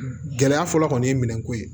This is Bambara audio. Gɛlɛya fɔlɔ kɔni ye minɛn ko ye